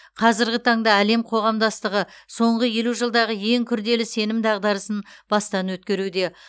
қазіргі таңда әлем қоғамдастығы соңғы елу жылдағы ең күрделі сенім дағдарысын бастан өткеруде